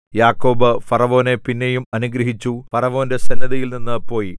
യാക്കോബ് ഫറവോനെ പിന്നെയും അനുഗ്രഹിച്ചു ഫറവോന്റെ സന്നിധിയിൽനിന്ന് പോയി